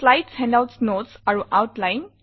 slides handouts notes আৰু Outline